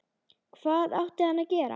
Hvað átti hann að gera?